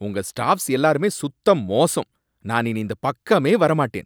உங்க ஸ்டாஃப்ஸ் எல்லாருமே சுத்த மோசம்! நான் இனி இந்தப் பக்கமே வர மாட்டேன்